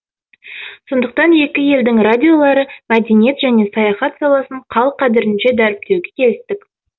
сондықтан екі елдің радиолары мәдениет және саяхат саласын қал қадірінше дәріптеуге келістік